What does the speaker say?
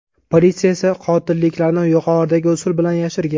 Politsiya esa qotilliklarni yuqoridagi usul bilan yashirgan.